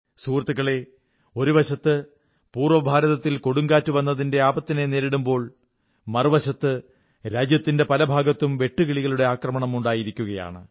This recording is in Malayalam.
സുഹൃത്തുക്കളേ ഒരുവശത്ത് പൂർവ്വഭാരത്തിൽ കൊടുങ്കാറ്റുവന്നതിന്റെ ആപത്തിനെ നേരിടുമ്പോൾ മറുവശത്ത് രാജ്യത്തിന്റെ പല ഭാഗത്തും വെട്ടുകിളികളുടെ ആക്രമണം ഉണ്ടായിരികയാണ്